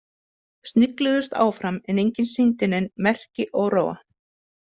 Snigluðust áfram en enginn sýndi nein merki óróa.